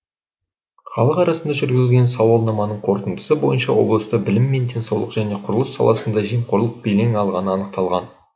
халық арасында жүргізілген сауалнаманың қорытындысы бойынша облыста білім мен денсаулық және құрылыс саласында жемқорлық белең алғаны анықталған